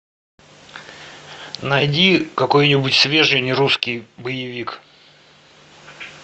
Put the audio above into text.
найди какой нибудь свежий нерусский боевик